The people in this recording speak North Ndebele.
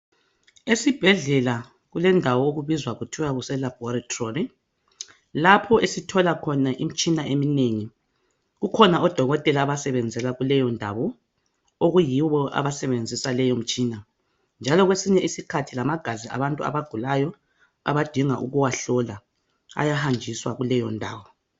Esibhedlela kulendawo okubizwa kuthiwa kuse laboratory lapho esithola khona imitshina eminengi kukhona odokotela abasebenzela kuleyo ndawo okuyibo abasebenzisa leyo imitshina njalo kwesinye isikhathi lamagazi abantu abagulayo abadinga ukuwahlola ayahanjiswa kuleyo ndawo